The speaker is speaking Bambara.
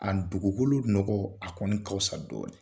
A dugukolo nɔgɔ a kɔni ka fisa dɔɔni.